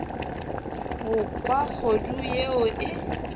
go kwa kgodu yeo e